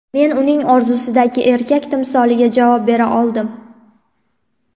Men uning orzusidagi erkak timsoliga javob bera oldim.